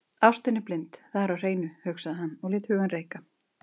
Þetta leiddi til þess að hugmyndir fólks tóku breytingum frá degi til dags.